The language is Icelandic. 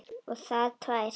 Og það tvær.